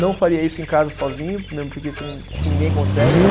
Não faria isso em casa sozinho, mesmo porque você não, acho que ninguém consegue, né?